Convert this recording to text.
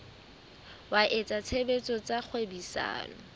wa etsa tshebetso tsa kgwebisano